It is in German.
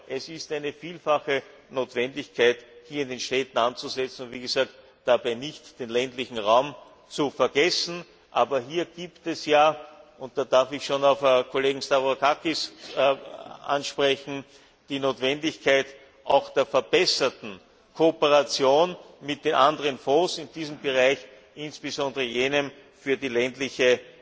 Es ist also eine vielfache Notwendigkeit, in den Städten anzusetzen und, wie gesagt, dabei nicht den ländlichen Raum zu vergessen. Aber hier gibt es ja und da darf ich schon den Kollegen Stavrakakis ansprechen die Notwendigkeit auch der verbesserten Kooperation mit den anderen Fonds in diesem Bereich, insbesondere jenem für die ländliche